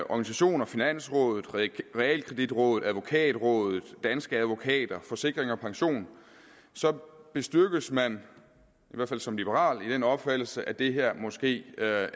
organisationer finansrådet realkreditrådet advokatrådet danske advokater forsikring og pension så bestyrkes man i hvert fald som liberal i den opfattelse at det måske er